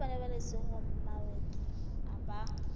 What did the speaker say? ba pabalesego ya mawatle ba